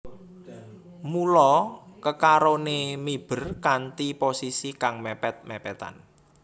Mula kekaroné miber kanthi posisi kang mèpèt mèpètan